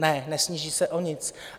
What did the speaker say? Ne, nesníží se o nic.